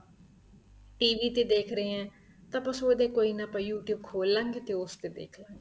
TV ਤੇ ਦੇਖ ਰਹੇ ਹੈ ਤਾਂ ਆਪਾਂ ਸੋਚਦੇ ਹਾਂ ਕੋਈ ਨਾ ਆਪਾਂ you tube ਖੋਲਾਂਗੇ ਤੇ ਉਸ ਤੇ ਦੇਖਲਾਗੇ